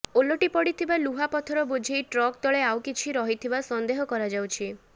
ଓଲଟିପଡିଥିବା ଲୁହା ପଥର ବୋଝେଇ ଟ୍ରକ୍ ତଳେ ଆଉ କିଛି ରହିଥିବା ସନ୍ଦେହ କରାଯାଉଛି